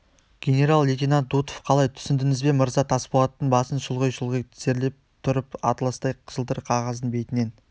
генерал-лейтенант дутов қалай түсіндіңіз бе мырза тасболат басын шұлғи-шұлғи тізерлеп тұрып атластай жылтыр қағаздың бетінен